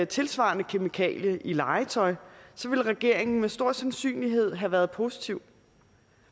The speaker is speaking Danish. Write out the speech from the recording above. tilsvarende kemikalie i legetøj ville regeringen med stor sandsynlighed have været positiv